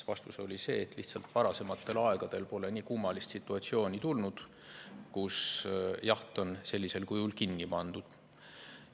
Vastus oli see, et lihtsalt varasematel aegadel pole nii kummalist situatsiooni ette tulnud, kus jaht on sellisel kujul kinni pandud.